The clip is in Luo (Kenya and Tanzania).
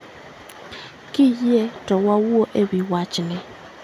KIyie to wawuo e wii wachni